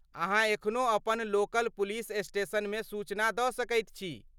अहाँ एखनो अपन लोकल पुलिस स्टेशनमे सूचना दऽ सकैत छी।